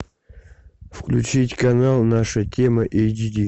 включить канал наша тема эйч ди